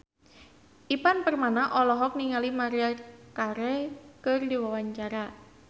Ivan Permana olohok ningali Maria Carey keur diwawancara